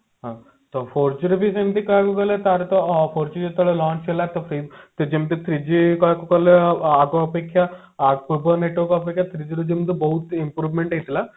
ହଁ ତ four G ର ବି ସେମତି call ଗଲେ ତାର ତ four G ଯେତେବେଳେ launch ହେଲା ତ three ତ ଯେମିତି three G କହିବାକୁ ଗଲେ ଆଗ ଅପେକ୍ଷା ପୂର୍ବ network ଅପେକ୍ଷା three G ର ଯେମତି ବହୁତ improvement ହେଲା